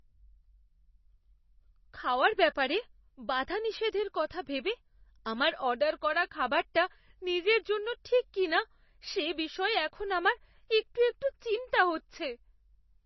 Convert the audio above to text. খাওয়ার ব্যাপারে বাধানিষেধের কথা ভেবে আমার অর্ডার করা খাবারটা নিজের জন্য ঠিক কিনা সে বিষয়ে এখন আমার একটু একটু চিন্তা হচ্ছে।